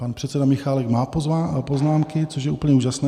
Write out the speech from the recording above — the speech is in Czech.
Pan předseda Michálek má poznámky, což je úplně úžasné.